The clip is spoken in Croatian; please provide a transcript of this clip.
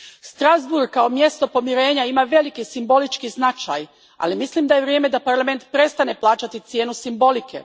Strasbourg kao mjesto pomirenja ima veliki simbolički značaj, ali mislim da je vrijeme da Parlament prestane plaćati cijenu simbolike.